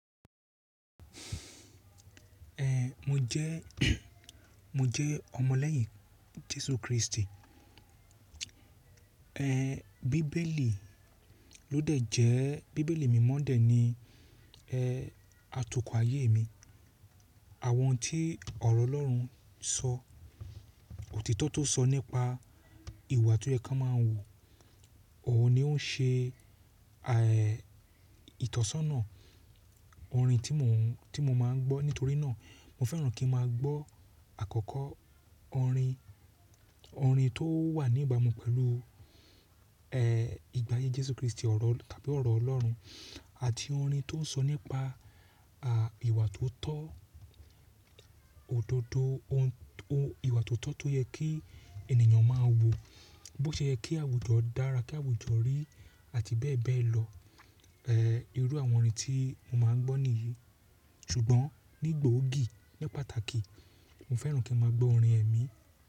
Ehn, mo jẹ́, mo jẹ́ ọmọ lẹ́yìn Jésù Kristi. Ehn, bíbélì ló dẹ̀ jẹ́, bíbélì mímọ́ dè ni ehn atukọ̀ ayé mi. Àwọn tí ọ̀rọ̀ Ọlọ́run sọ, òtítọ́ tó sọ nípa ìwà tó yẹ kí a máa wù, òun ni ó n ṣe àh èè ìtọ́sọ́nà orin tí mo n, tí mo máa ń gbọ́. Nítorí náà, mo fẹ́ràn kí n máa gbọ́ àkọ́kọ́ orin, orin tó wà ní ìbámu pẹ̀lú ehn ìgbà ayé Jésù Kristi ọ̀rọ̀ tàbí ọ̀rọ̀ Ọlọ́run àti orin tó n sọ nípa à ìwà tó tọ́ òdodo ohun, ohun ìwà tó tọ́ tó yẹ kí ènìyàn máa wù, bó ṣe yẹ kí àwùjọ dára, kí àwùjọ rí àti bẹ́ẹ̀ bẹ́ẹ̀ lọ. Ehn, irú àwọn orin tí mo máa ń gbọ́ nìyí. Ṣùgbọ́n ní gboogì, ní pàtàkì, mo fẹ́ràn kí n máa gbọ́ orin ẹ̀mí.